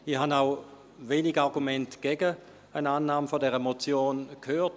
Ich habe auch wenige Argumente gegen eine Annahme dieser Motion gehört.